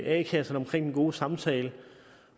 a kasserne omkring den gode samtale